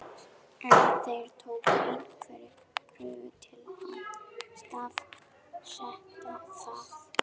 En þeir tóku einhverjar prufur til að staðfesta það.